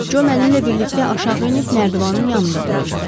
Co mənimlə birlikdə aşağı enib nərdivanın yanında duracaq.